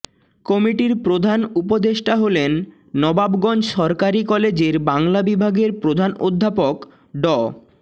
কমিটির প্রধান উপদেষ্টা হলেন নবাবগঞ্জ সরকারি কলেজের বাংলা বিভাগের প্রধান অধ্যাপক ড